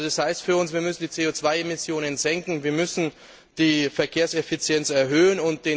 Das heißt für uns, wir müssen die CO Emmissionen senken und wir müssen die Verkehrseffizienz erhöhen.